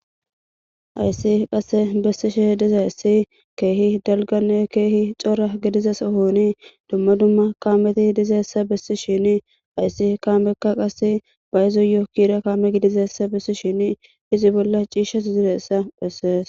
Ayssi qasse bessi shi diza essi keehi dalgane keehi cora gidiza sohoni dumma dumma kaameti idizeessa bessi shini ayssi kaameka qase bayzo yookira kaame gidizeessa besi shin izi bolla ciishas ziressa phessees.